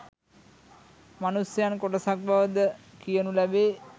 මනුෂ්‍යයන් කොටසක් බව ද කියනු ලැබේ